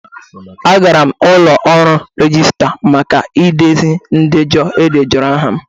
Aga m ụlọ ọrụ registra maka idezi ndejọ e edejọrọ aha m.